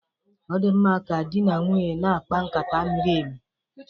Ọ di mma ka di na nwunye na-akpa nkata miri emi